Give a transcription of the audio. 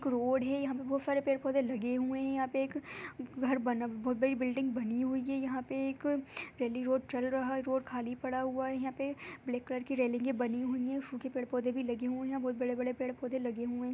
यहाँ पर एक रोड है यहाँ पर बहुत सारे पेड़ पोधे लगे हुए हैं यहाँ पे एक घर बिल्डिंग बनी हुई है एक पे रेली रोड चल रहा रोड खाली पड़ा हुआ है| यहाँ पे ब्लैक कलर की बनी हुई हैं फूल के भी पौधे लगे हुए हैं बहुत बड़े बड़े पेड़ लगे हुए हैं|